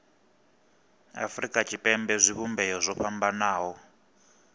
afurika tshipembe zwivhumbeo zwo fhambanaho